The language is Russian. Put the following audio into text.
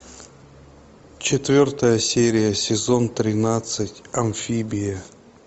четвертая серия сезон тринадцать амфибия